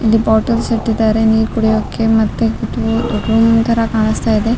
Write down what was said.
ಇಲ್ಲಿ ಬಾಟಲ್ಸ್ ಇಟ್ಟಿದ್ದಾರೆ ನೀರ್ ಕುಡಿಯೋಕೆ ಮತ್ತೆ ರು ರೂಮ್ ತರ ಕಾಣ್ಸ್ತಾ ಇದೆ.